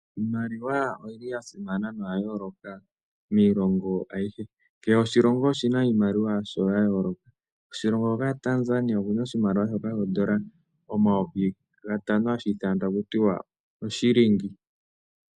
Iimaliwa oyili ya simana, noya yooloka miilongo ayihe, kehe oshilongo oshina iimaliwa yasho ya yooloka. Koshilongo hoka sha Tanzania okuna oshimaliwa shoka oondola omayovi gatano hashi ithanwa taku tiwa Oshilingi.